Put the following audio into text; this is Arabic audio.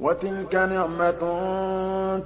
وَتِلْكَ نِعْمَةٌ